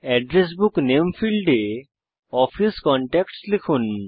address book নামে ফীল্ডে office contacts লিখুন